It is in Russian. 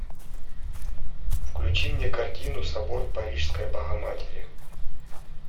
включи мне картину собор парижской богоматери